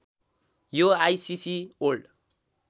यो ICC world